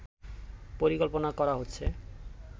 পরিকল্পনা করা হচ্ছে